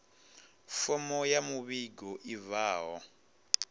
fomo ya muvhigo i bvaho